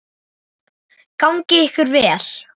Gangi ykkur vel.